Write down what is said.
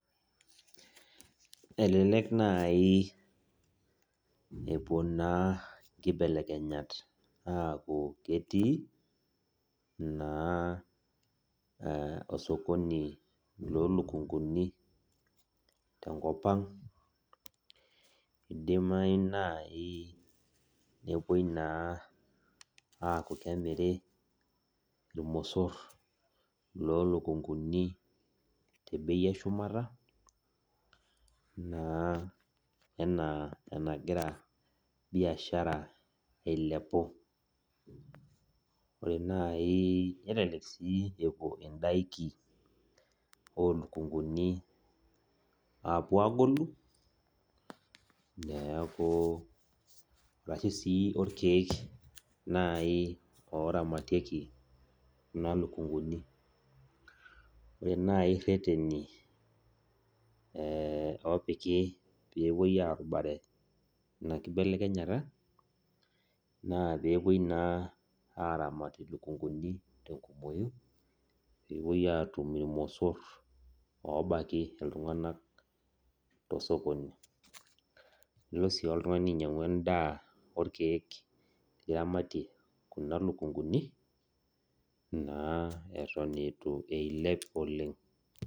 Elelek nai epuo naa nkibelekenyat aku ketii, naa osokoni lo lukunkuni tenkop ang. Idimayu nai nepuoi naa aku kemiri irmosor lo lukunkuni tebei eshumata, naa enaa enagira biashara ailepu. Ore nai nelelek si epuo idaiki olukunkuni apuo agolu, neeku arashu si orkeek nai oramatieki kuna lukunkuni. Ore nai rreteni opiki pepuoi arubare ena kibelekenyata, naa pepuoi naa aramat ilukunkuni tenkumoyu, pepuoi atum irmosor obaki iltung'anak tosokoni. Nilo si oltung'ani ainyang'u endaa orkeek liramatie kuna lukunkuni, naa eton itu eilep oleng.